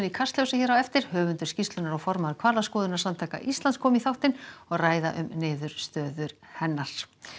í Kastljósi hér á eftir höfundur skýrslunnar og formaður Íslands koma í þáttinn og ræða um niðurstöður hennar